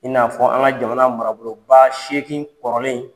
I n'a fɔ an ka jamana marabolobaa seegin kɔrɔlen